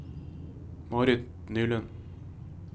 Marit Nylund